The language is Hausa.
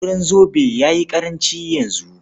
Auren zobe ya yi ƙaranci yanzu.